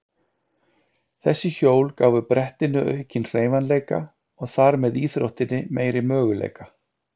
Þessi hjól gáfu brettinu aukinn hreyfanleika og þar með íþróttinni meiri möguleika.